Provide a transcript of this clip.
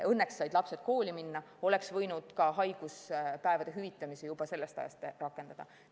Õnneks said lapsed kooli minna, oleks võinud ka haiguspäevade hüvitamise juba sellest ajast rakendada.